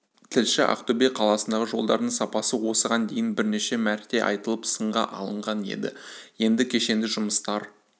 тілші ақтөбе қаласындағы жолдардың сапасы осыған дейін бірнеше мәрте айтылып сынға алынған еді енді кешенді жұмыстар